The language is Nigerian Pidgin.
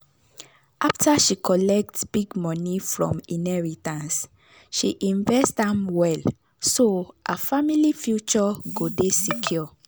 after she collect big money from inheritance she invest am well so her family future go dey secure.